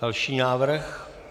Další návrh.